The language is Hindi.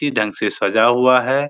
ढंग से सजा हुआ है।